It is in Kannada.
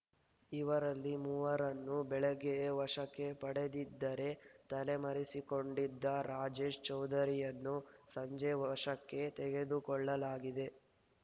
ಇವರಲ್ಲಿ ಮೂವರನ್ನು ಬೆಳಗ್ಗೆಯೇ ವಶಕ್ಕೆ ಪಡೆದಿದ್ದರೆ ತಲೆಮರೆಸಿಕೊಂಡಿದ್ದ ರಾಜೇಶ್‌ ಚೌಧರಿಯನ್ನು ಸಂಜೆ ವಶಕ್ಕೆ ತೆಗೆದುಕೊಳ್ಳಲಾಗಿದೆ